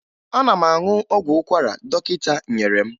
Ana m aṅụ ọgwụ ụkwara dọkịta nyere m